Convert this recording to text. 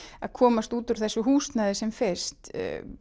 að komast úr þessu húsnæði sem fyrst